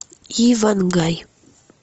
иван гай